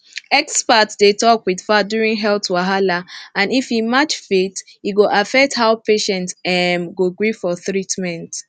experts dey talk with fact during health wahala and if e match faith e go affect how patient um go gree for treatment